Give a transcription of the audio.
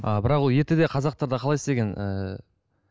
а бірақ ол ертеде қазақтарда қалай істеген і